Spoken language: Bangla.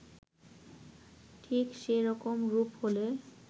ঠিক যে রকম রূপ হলে